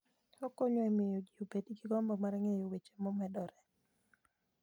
Okonyo e miyo ji obed gi gombo mar ng'eyo weche momedore.